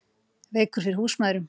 Veikur fyrir húsmæðrum